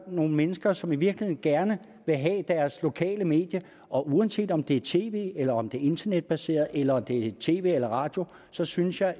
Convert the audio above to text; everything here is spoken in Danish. nogle mennesker som i virkeligheden gerne vil have deres lokale medie og uanset om det er tv eller om det internetbaseret eller om det er tv eller radio så synes jeg at